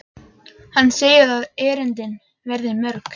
Hann segir að erindin verði mörg.